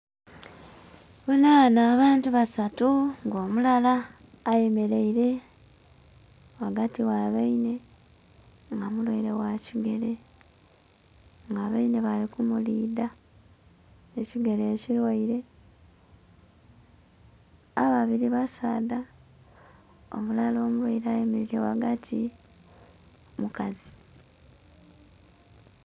Ndhi bonha ghano abantu basatu nga omulala ayemereire ghagati gha bainhe nga omukeire gha kigere nga bainhe bali ku mulidha ekigere eki lwaire. Ababiri basaadha omulala omulwaire ayemereire ghagati mukazi.